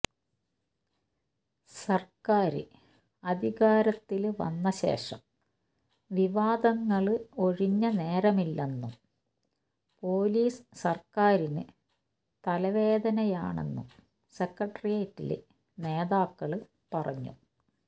സര്ക്കാര് അധികാരത്തില് വന്നശേഷം വിവാദങ്ങള് ഒഴിഞ്ഞ നേരമില്ലെന്നും പോലീസ് സര്ക്കാരിനു തലവേദനയാണെന്നും സെക്രട്ടേറിയറ്റില് നേതാക്കള് പറഞ്ഞു